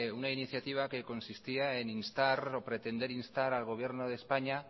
una iniciativa que consistía en instar o pretender instar al gobierno de españa